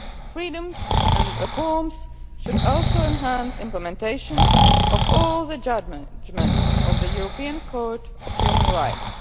Freedoms and reforms should also enhance the implementation of all the judgments of the European Court of Human Rights.